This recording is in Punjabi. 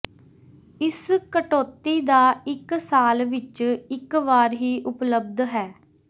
ਇਸ ਕਟੌਤੀ ਦਾ ਇੱਕ ਸਾਲ ਵਿੱਚ ਇੱਕ ਵਾਰ ਹੀ ਉਪਲੱਬਧ ਹੈ